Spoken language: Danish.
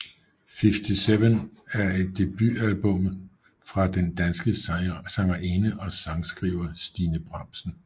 Fiftyseven er debutalbumet fra den danske sangerinde og sangskriver Stine Bramsen